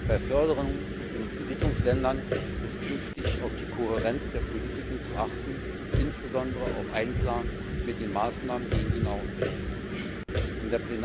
Bei Förderungen in Entwicklungsländern ist künftig auf die Kohärenz der Politiken zu achten, insbesondere darauf, dass sie mit den Maßnahmen gegen die Nahrungsmittelkrise in Einklang stehen.